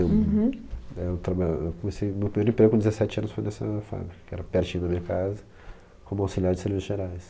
Eu né eu traba... Eu comecei meu primeiro emprego com dezessete anos foi nessa fábrica, que era pertinho da minha casa, como auxiliar de serviços gerais.